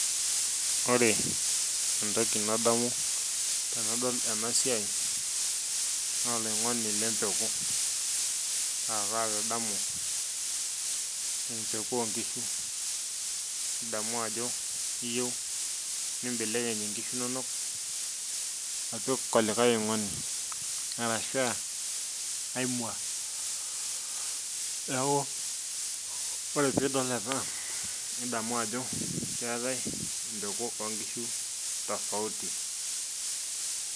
Ore entoki nadamu tenadol ena siai naa oloing'oni lempeku aa kaitadamu empeku o nkishu. nidamu ajo iyieu nimbelekeny nkishu inonok apik olikae oing'oni, arashu aa mua, neeku ore pee idol ena nidamu ajo, keeta empeku oo nkishu tofauti.